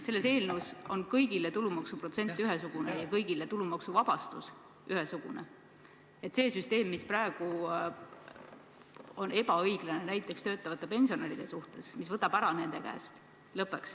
Selles eelnõus on ette nähtud kõigile ühesugune tulumaksuprotsent ja kõigile ühesugune tulumaksuvabastus, et lõpeks see süsteem, mis praegu on ebaõiglane näiteks töötavate pensionäride suhtes, mis võtab raha nende käest ära.